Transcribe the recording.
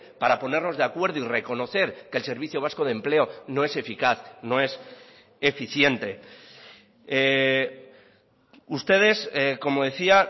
para ponernos de acuerdo y reconocer que el servicio vasco de empleo no es eficaz no es eficiente ustedes como decía